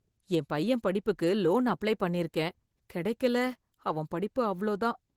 என் பையன் படிப்புக்கு loan apply பண்ணியிருக்கேன், கிடைக்கல அவன் படிப்பு அவ்ளோ தான்.